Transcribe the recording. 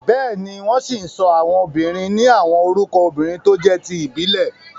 Bẹ́ẹ̀ni, wọ́n ṣì ń sọ àwọn obìnrin ni àwọn orúkọ obìrin tó jé ti ìbílẹ̀.